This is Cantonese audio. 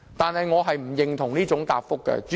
主席，我並不認同這種答覆。